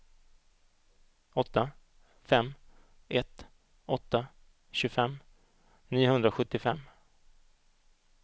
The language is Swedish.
åtta fem ett åtta tjugofem niohundrasjuttiofem